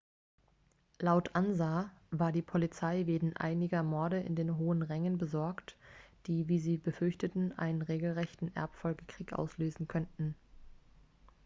laut ansa war die polizei wegen einiger morde in den hohen rängen besorgt die wie sie befürchteten einen regelrechten erbfolgekrieg auslösen könnten